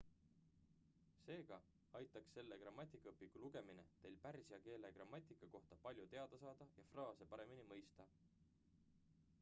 seega aitaks selle grammatikaõpiku lugemine teil pärsia keele grammatika kohta palju teada saada ja fraase paremini mõista